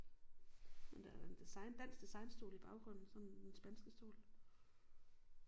Men der er der en design dansk designstol i baggrunden sådan den spanske stol